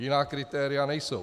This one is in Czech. Jiná kritéria nejsou.